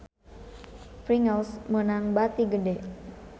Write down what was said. Pringles meunang bati gede